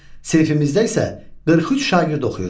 Sinifimizdə isə 43 şagird oxuyur.